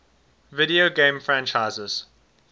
video game franchises